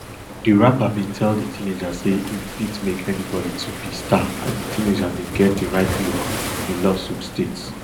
di rapper bin tell di teenager say im fit make anybody to be star and di teenager bin get di right look di lawsuit states